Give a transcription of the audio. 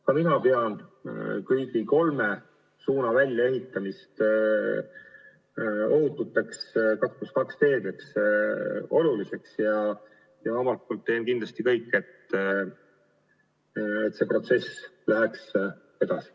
Ka mina pean oluliseks kõigi kolme suuna väljaehitamist ohututeks 2 + 2 teedeks ja teen kindlasti kõik, et see protsess läheks edasi.